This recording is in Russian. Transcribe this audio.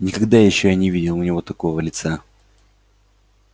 никогда ещё я не видел у него такого лица